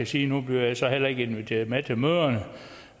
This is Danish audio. sige nu bliver jeg så heller ikke inviteret med til møderne